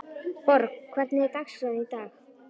Borg, hvernig er dagskráin í dag?